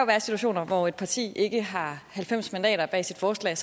være situationer hvor et parti ikke har halvfems mandater bag sit forslag